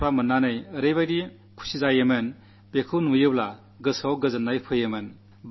ആ ദരിദ്ര ബാലികാബാലന്മാർക്ക് ആ കളിപ്പാട്ടങ്ങൾ കാണുമ്പോഴുള്ള സന്തോഷം വാക്കുകൾക്കതീതമാണ്